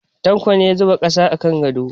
Tanko ne ya zuba ƙasa a kan gado.